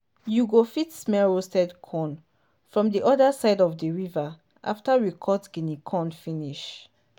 you go fit smell roast corn from di other side of the river after we cut guinea corn finish.